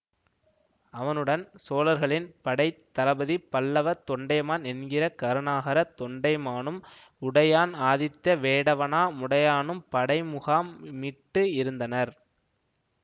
அவனுடன் சோழர்களின் படை தளபதி பல்லவ தொண்டைமான் என்கிற கருணாகர தொண்டைமானும் உடையான் ஆதித்த வேடவனா முடையானும் படை முகாம் மிட்டு இருந்தனர்